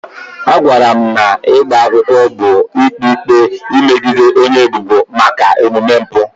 A gwara m na ịgba akwụkwọ bụ ikpe ikpe megide onye ebubo maka omume mpụ.